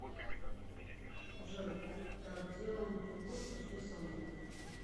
джой так делаем перекур пошли со мной